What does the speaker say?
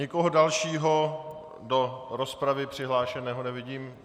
Nikoho dalšího do rozpravy přihlášeného nevidím.